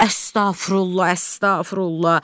Əstəğfürullah, əstəğfürullah.